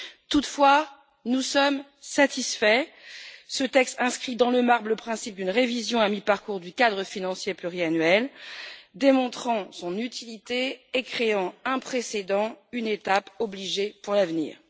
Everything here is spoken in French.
Toutefois, nous sommes satisfaits. Ce texte inscrit dans le marbre le principe d'une révision à mi parcours du cadre financier pluriannuel démontrant ainsi son utilité et créant un précédent, une étape obligée pour l'avenir.